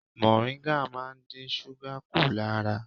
Mọ̀ríngà máa ń dín súgà kù lára.